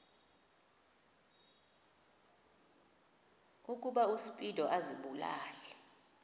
ukuba uspido azibulale